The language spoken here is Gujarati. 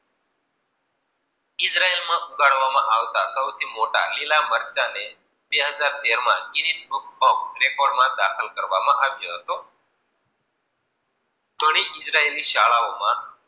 સૌથી મોટા લીલા મરચા ને, બે હજાર તેર માં કિરિપ્રઠોમ પેપર માં દાખલ કરવામાં આવ્યો હતો. ઘણી ઇજરાયેલી શાળાઓ મા